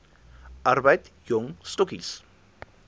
arbeid jong stokkies